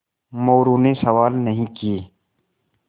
मोरू ने सवाल नहीं किये